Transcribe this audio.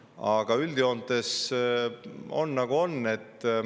Aga üldjoontes on, nagu on.